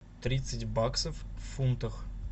тридцать баксов в фунтах